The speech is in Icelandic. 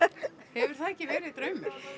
hefur það ekki verið draumur